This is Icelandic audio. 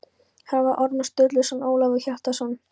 Þarna var Ormur Sturluson og Ólafur Hjaltason.